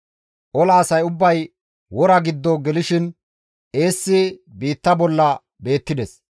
Ola asay ubbay wora giddo gelishin eessi biitta bolla beettides.